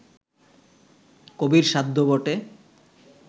কবির সাধ্য বটে